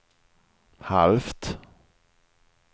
halvt